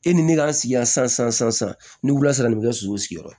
E ni ne k'an sigi yan san san san san san ni wula sisan bɛ ka so sigiyɔrɔ